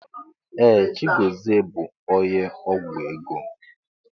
Ee! Chigọzie bụ onye ọgwụ ego.